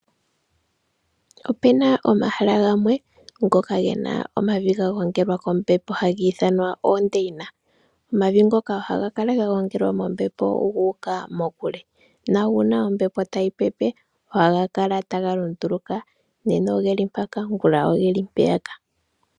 Opena omahala gamwe ngoka gena omavi gagongelwa kombepo hagiithanwa oondeyina. Omavi ngoka ohagakala gagongelwa mombepo guuka mokule na uuna ombepo tayipepe ohaga kala tagalunduluka. Nena ogeli mpaka ngula ogeli mpeyaka.